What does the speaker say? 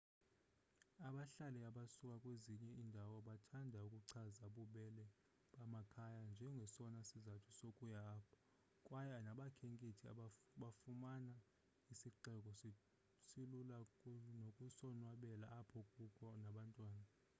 abahlali abasuka kwezinye iindawo bathanda ukuchaza ububele bamakhaya njengesona sizathu sokuya apho kwaye nabakhenkethi bafumana isixeko silula nokusonwabela apho kukho nabantwana